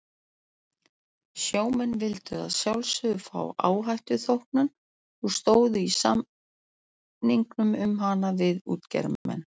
Sjómenn vildu að sjálfsögðu fá áhættuþóknun og stóðu í samningum um hana við útgerðarmenn.